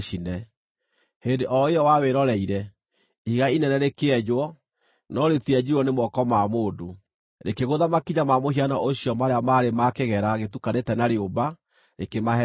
Hĩndĩ o ĩyo wawĩroreire, ihiga inene rĩkĩenjwo, no rĩtienjirwo nĩ moko ma mũndũ. Rĩkĩgũtha makinya ma mũhianano ũcio marĩa maarĩ ma kĩgera gũtukanĩte na rĩũmba, rĩkĩmahehenja.